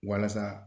Walasa